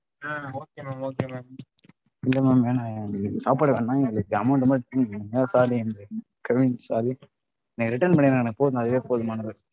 okay madam okay madam இல்ல madam வேணாம் எங்களுக்கு சாப்பாடு வேணாம் எங்களுக்கு amount மட்டும் திருப்பி கொடுங்க sorry கெவின் sorry நீங்க return பண்ணிடுங்க எனக்கு போதும் அதுவே போதுமானது